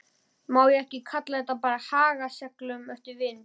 Má ekki kalla þetta að haga seglum eftir vindi?